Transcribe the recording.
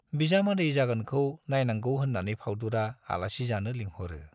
बिजामादै जागोनखौ नाइनांगौ होन्नानै फाउदुरा आलासि जानो लिंहरो।